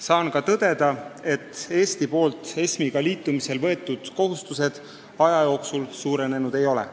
Saan ka tõdeda, et Eesti võetud kohustused seoses ESM-iga aja jooksul suurenenud ei ole.